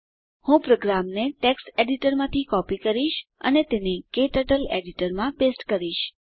હું પ્રોગ્રામને ટેક્સ્ટ એડીટરમાંથી કોપી કરીશ અને તેને ક્ટર્ટલ એડીટરમાં પેસ્ટ કરીશ